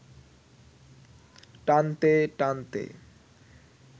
টানতে টানতে